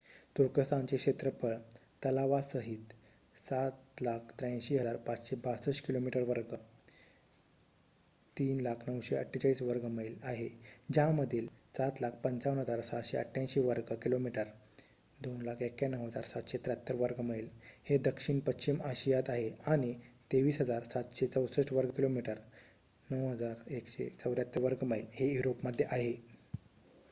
तुर्कस्थानचे क्षेत्रफळ तलावासाहित 783,562 किमी वर्ग 300,948 वर्ग मैल आहे ज्यामधील 755,688 वर्ग किलोमीटर 291,773 वर्ग मैल हे दक्षिण पश्चिम आशियात आहे आणि 23,764 वर्ग किलोमीटर 9,174 वर्ग मैल हे युरोपमध्ये आहे